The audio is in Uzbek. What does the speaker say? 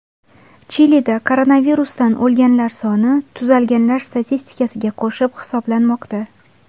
Chilida koronavirusdan o‘lganlar soni tuzalganlar statistikasiga qo‘shib hisoblanmoqda .